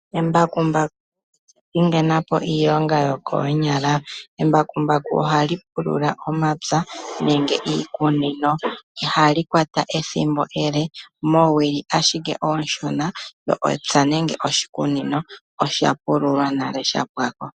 Embakumbaku olya pingena po iilonga yokoonyala. Embakumbaku ohali pulula omapya nenge iikunino. Ihali kwata ethimbo ele. Oowili owala oonshona lyo epya nenge oshikunino osha pululwa nale sha pwa ko.